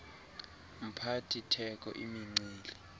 mphathi theko imincili